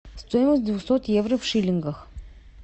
стоимость двухсот евро в шиллингах